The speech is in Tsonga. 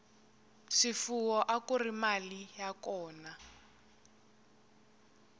swifuwo akuri mali ya kona